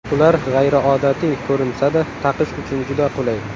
Ular g‘ayriodatiy ko‘rinsa-da, taqish uchun juda qulay.